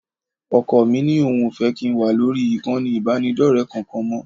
Ọkọ mí ní òun ò fẹ́ kí n wà lórí ìkànnì ìbánidọ́rẹ̀ẹ́ kankan mọ́